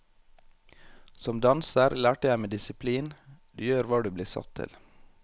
Som danser lærte jeg meg disiplin, du gjør hva du blir satt til.